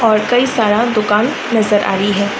और कई सारा दुकान नजर आ री है।